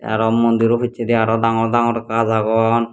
aro mondiro pijedi aro dangor dangor gach agon.